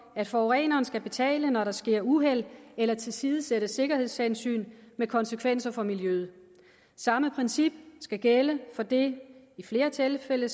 at forureneren skal betale når der sker uheld eller tilsidesættelse af sikkerhedshensyn med konsekvenser for miljøet samme princip skal gælde for det i flere tilfælde